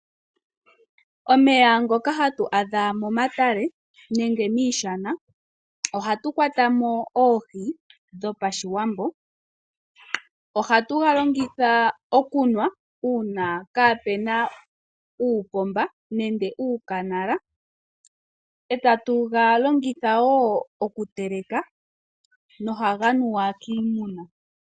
Omeya ngoka hatu adha momatale nenge miishana, oha tu kwata mo oohi dho pa Shiwambo. Oha tu ga longitha okunwa uuna kaa pena uupomba nenge uukanala. E ta tu ga longitha wo okuteleka no ha ga nuwa kiimuna.